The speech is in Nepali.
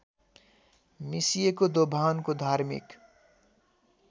मिसिएको दोभानको धार्मिक